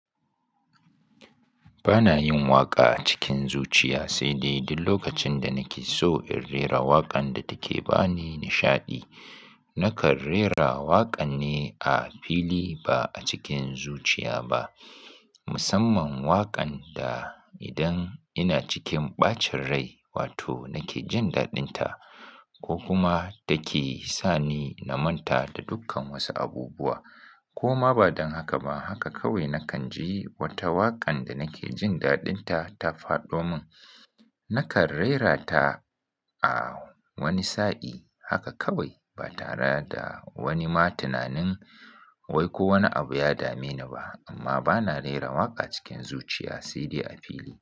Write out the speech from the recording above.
Ba na yin waƙa cikin zuciya, sai dai duk lokacin da nake so in rera waƙan da take ba ni nishaɗi, nakan rera waƙan ne a fili ba a cikin zuciya ba. Musamman waƙan da idan ina cikin ɓacin rai wato nake jin daɗinta ko kuma take sa ni na manta da dukkan wasu abubuwa. Ko ma ba don haka ba, haka kawai nakan ji wata waƙan da nake jin daɗinta ta fado mun, nakan raira ta a wani sa'i haka kawai ba tare da wani ma tunanin wai ko wani abu ya dame ni ba. Amma ba na rera waƙa cikin zuciya sai dai a fili.